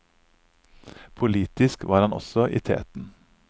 Politisk var han også i teten.